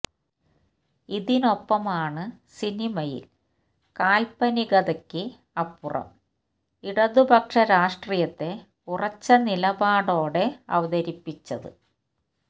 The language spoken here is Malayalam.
ഇതിനൊപ്പമാണ് സിനിമയിൽ കാൽപനികതയ്ക്ക് അപ്പുറം ഇടതുപക്ഷ രാഷ്ട്രീയത്തെ ഉറച്ച നിലപാടോടെ അവതരിപ്പിച്ചത്